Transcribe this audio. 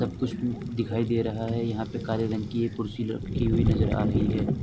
सब कुछ दिखाई दे रहा है। यहां पे काले रंग की एक कुर्सी रखी हुई नजर आ रही है।